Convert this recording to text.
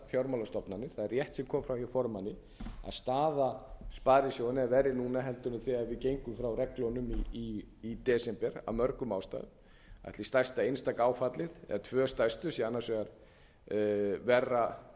fjármálastofnanir það er rétt sem kom fram hjá formanni að staða sparisjóðanna er verri núna en þegar við gengum frá reglunum í desember af mörgum ástæðum ætli stærsta einstaka áfallið eða tvö stærstu séu annars vegar verra